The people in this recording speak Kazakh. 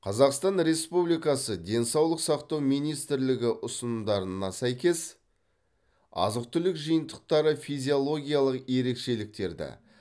қазақстан республикасы денсаулық сақтау министрлігі ұсынымдарына сәйкес азық түлік жиынтықтары физиологиялық ерекшеліктерді